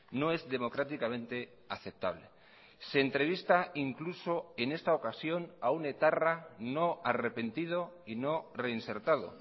no es democráticamente aceptable se entrevista incluso en esta ocasión a un etarra no arrepentido y no reinsertado